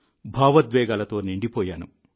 భావోద్వేగాలతో నిండిపోయాను